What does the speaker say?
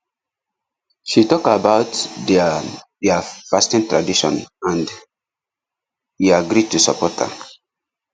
she talk about their their fasting tradition and e agree to support her